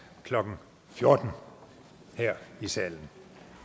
klokken fjorten her i salen